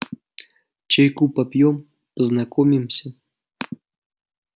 чайку попьём познакомимся